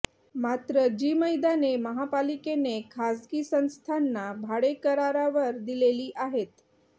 मात्र जी मैदाने महापालिकेने खासगी संस्थांना भाडेकरारावर दिलेली आहेत